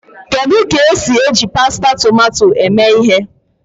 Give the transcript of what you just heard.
Kedu ka esi eji pasta tomato eme ihe?